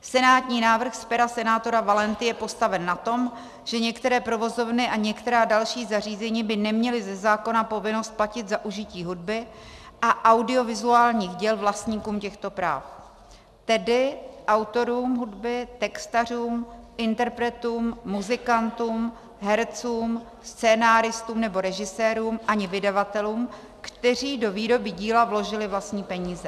Senátní návrh z pera senátora Valenty je postaven na tom, že některé provozovny a některá další zařízení by neměla ze zákona povinnost platit za užití hudby a audiovizuálních děl vlastníkům těchto práv, tedy autorům hudby, textařům, interpretům, muzikantům, hercům, scenáristům nebo režisérům ani vydavatelům, kteří do výroby díla vložili vlastní peníze.